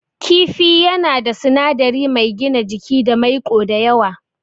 Kifi yana da sinadari mai gina jiki da maiƙo da yawa.